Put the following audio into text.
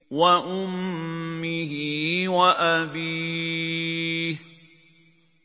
وَأُمِّهِ وَأَبِيهِ